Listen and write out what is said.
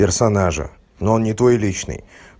персонажа но он не твой личный